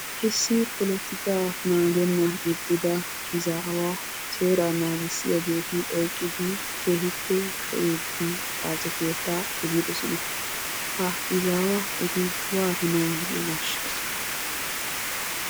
Issi polotikaa naagennan ixxida ezaawa seeraa naagissiyaageeti oyqqidi keehippe shocciidi xaace keettaa efidosona. Ha ezaawa eti waatanawu de"iyoonaashsha?